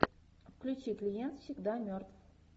включи клиент всегда мертв